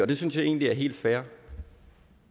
det synes jeg egentlig er helt fair